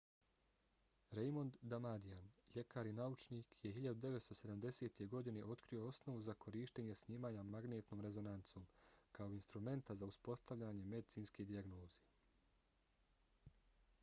raymond damadian ljekar i naučnik je 1970. godine otkrio osnovu za korištenje snimanja magnetnom rezonancom kao instrumenta za uspostavljanje medicinske dijagnoze